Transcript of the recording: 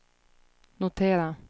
notera